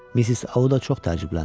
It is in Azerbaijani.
Missis Audda çox təəccübləndi.